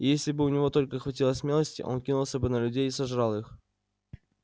и если бы у него только хватило смелости он кинулся бы на людей и сожрал их